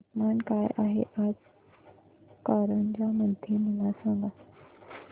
तापमान काय आहे आज कारंजा मध्ये मला सांगा